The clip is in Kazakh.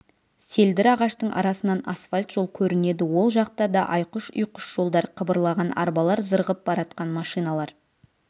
селдір ағаштың арасынан асфальт жол көрінеді ол жақта да айқұш-ұйқыш жолдар қыбырлаған арбалар зырғып баратқан машиналар